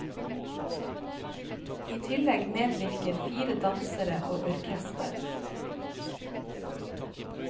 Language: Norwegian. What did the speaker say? I tillegg medvirker fire dansere og orkester.